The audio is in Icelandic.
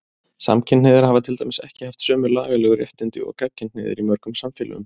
Samkynhneigðir hafa til dæmis ekki haft sömu lagalegu réttindi og gagnkynhneigðir í mörgum samfélögum.